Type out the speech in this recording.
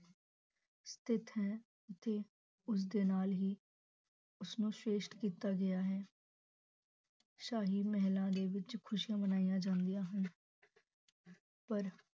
ਸਤੀਥ ਹੈ ਅਤੇ ਉਸ ਦੇ ਨਾਲ ਹੀ, ਉਸ ਨੂੰ ਸਰੇਸ਼ਟ ਕੀਤਾ ਗਿਆ ਹੈ ਸਾਹੀ ਮਹਿਲਾ ਦੇ ਵਿਚ ਖੁਸ਼ੀਆਂ ਮਨਾਈਆਂ ਜਾ ਰਹੀਆਂ ਹਨ ਪਰ